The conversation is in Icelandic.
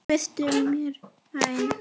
Vertu mér vænn